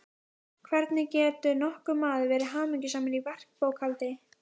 hvernig getur nokkur maður verið hamingjusamur í verkbókhaldi.